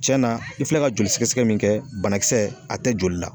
Cɛna na i filɛ ka joli sɛgɛsɛgɛ min kɛ banakisɛ a tɛ joli la